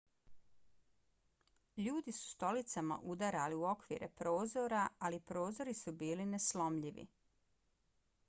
ljudi su stolicama udarali u okvire prozora ali prozori su bili neslomljivi